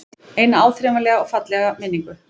Eina áþreifanlega og fallega minningu.